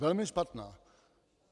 Velmi špatná.